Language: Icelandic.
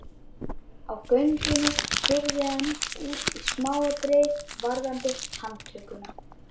Á göngunni spurði hann út í smáatriði varðandi handtökuna.